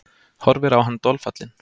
Horfir á hann dolfallin.